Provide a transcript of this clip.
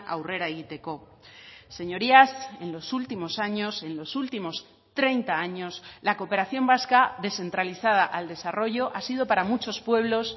aurrera egiteko señorías en los últimos años en los últimos treinta años la cooperación vasca descentralizada al desarrollo ha sido para muchos pueblos